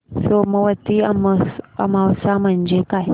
सोमवती अमावस्या म्हणजे काय